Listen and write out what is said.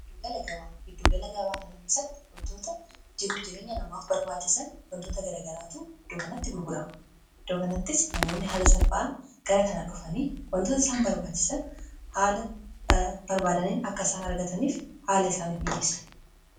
gagaahidduugalagabaa kana keessatti wantoota jiruu jireenya namaaf barbaachisan wantoota garagaraatu hiddookanatti gurgurama dookanattis namoonni haala salpha'an gara kanadhofanii wantoota isaan barbaachisan haala barbaadaniin akka isaan argataniif haala isaanif mikiissu